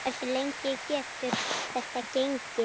Hversu lengi getur þetta gengið?